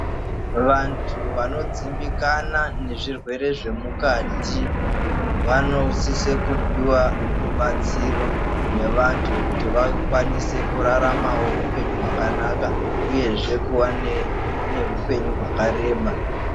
Vantu vanodzimbikana nezvirwere zvemukati vanosise kupuwa rubatsiro nevantu kuti vakwanise kuwanawo hupenyu hwakanaka uyehe kuva nehupenyu hwakareba.